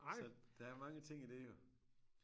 Så der er mange ting i det jo